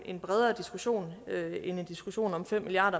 en bredere diskussion end en diskussion om fem milliard